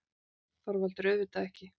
ÞORVALDUR: Auðvitað ekki!